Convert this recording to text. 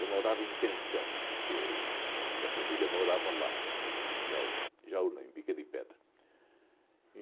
Eu morava em pensão, porque mi minha família morava lá, né, em Jaú, Jaú não, em Bica de Pedra.